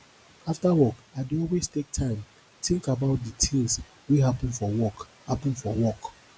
after work i dey always take time tink about di tins wey happen for work happen for work